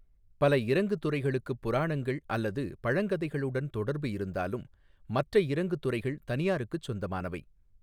பல இறங்கு துறைகளுக்குப் புராணங்கள் அல்லது பழங்கதைகளுடன் தொடர்பு இருந்தாலும் மற்ற இறங்கு துறைகள் தனியாருக்குச் சொந்தமானவை.